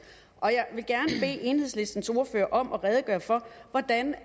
jeg enhedslistens ordfører om at redegøre for hvordan